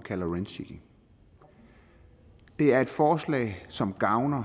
kalder rent seeking det er et forslag som gavner